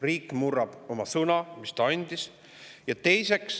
Riik murrab sõna, mis ta andis.